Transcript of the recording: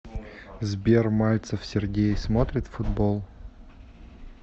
сбер мальцев сергей смотрит футбол